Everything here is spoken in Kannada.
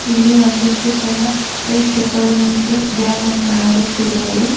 ಇಲ್ಲಿ ಒಂದಿಷ್ಟು ಜನ ಪ್ರೇಕ್ಷಕರು ನಿಂತು ಡ್ಯಾಮ್ ಅನ್ನು ನೋಡುತ್ತಿರುವರು.